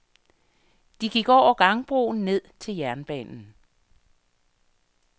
De gik over gangbroen ned til jernbanen.